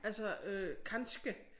Altså øh kanskje